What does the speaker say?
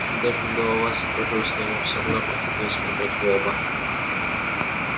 даже голова закружилась но ему всё равно приходилось смотреть в оба